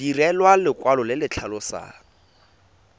direlwa lekwalo le le tlhalosang